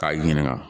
K'i ɲininka